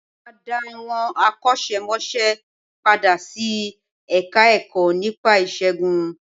Wọ́n máa dá àwọn akọ́ṣẹ́ mọṣẹ́ padà sí Ẹ̀ka-ẹ̀kọ́ nípa ìṣègùn